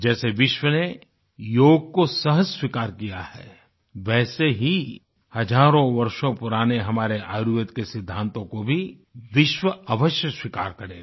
जैसे विश्व ने योग को सहर्ष स्वीकार किया है वैसे ही हजारों वर्षों पुराने हमारे आयुर्वेद के सिद्दांतों को भी विश्व अवश्य स्वीकार करेगा